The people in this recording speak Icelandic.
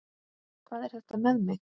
Hvað er þetta með mig?